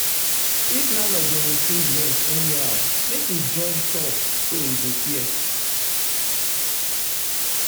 if landlord dey increase rent anyhow make we join talk so e go fair.